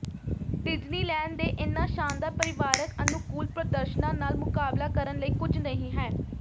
Disneyland ਦੇ ਇਹਨਾਂ ਸ਼ਾਨਦਾਰ ਪਰਿਵਾਰਕ ਅਨੁਕੂਲ ਪ੍ਰਦਰਸ਼ਨਾਂ ਨਾਲ ਮੁਕਾਬਲਾ ਕਰਨ ਲਈ ਕੁਝ ਨਹੀਂ ਹੈ